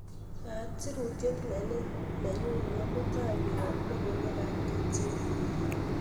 yaat sirutiet nenin nenyun nebo mutai koyop logoiwek ab ktn